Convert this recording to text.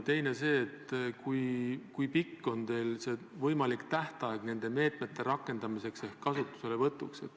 Teiseks, kui pikk on teil võimalik tähtaeg nende meetmete rakendamiseks ehk kasutuselevõtuks?